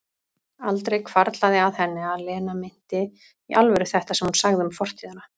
Aldrei hvarflað að henni að Lena meinti í alvöru þetta sem hún sagði um fortíðina.